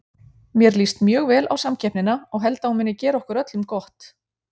Mér líst mjög vel á samkeppnina og held að hún muni gera okkur öllum gott.